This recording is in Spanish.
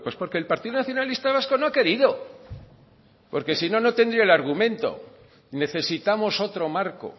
porque el partido nacionalista vasco no ha querido porque si no no tendría el argumento necesitamos otro marco